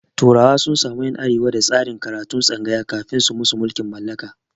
turawa sun samu ƴan arewa da tsarin karatun tsangaya kafin su musu mulkin mallaka